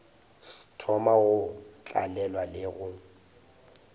thoma go tlalelwa le go